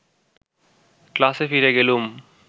ক্লাসে ফিরে গেলুম